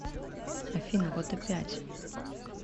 афина вот опять